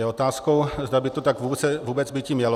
Je otázkou, zda by to tak vůbec býti mělo.